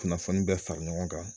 Kunnafoni bɛɛ fara ɲɔgɔn kan